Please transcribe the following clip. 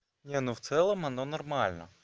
не ну в целом оно нормально